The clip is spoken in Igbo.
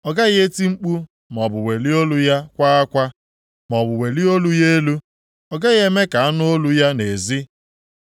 Ọ gaghị eti mkpu maọbụ welie olu ya kwaa akwa, maọbụ welie olu ya elu, ọ gaghị eme ka a nụ olu ya nʼezi.